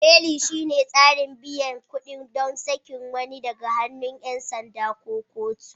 Beli shine tsarin biyan kuɗi ɗon sakin wani daga hannun 'yan sanda ko kotu.